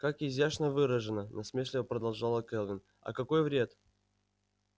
как изящно выражено насмешливо продолжала кэлвин а какой вред